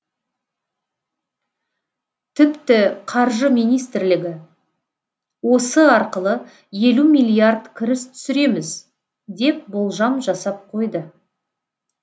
тіпті қаржы министрлігі осы арқылы елу миллиард кіріс түсіреміз деп болжам жасап қойды